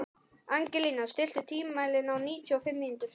Angelína, stilltu tímamælinn á níutíu og fimm mínútur.